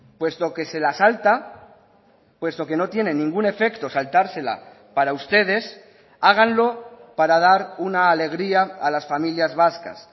puesto que se la salta puesto que no tiene ningún efecto saltársela para ustedes háganlo para dar una alegría a las familias vascas